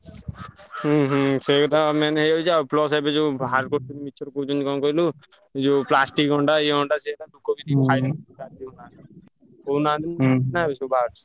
ହୁଁ ହୁଁ ସେଇକଥା ବା main ହେଇଯାଉଛି। ଆଉ plus ଏବେ ଯୋଉ ବାହାର କରୁଛନ୍ତି ମିଛରେ କହୁଛନ୍ତି କଣ କହିଲୁ ଯୋଉ plastic ଅଣ୍ଡା ଇଏ ଅଣ୍ଡା ସିଏ ଅଣ୍ଡା। କହୁଛନ୍ତି କହୁନାହାନ୍ତି ଏବେ ସବୁ ବାହାରୁଛି।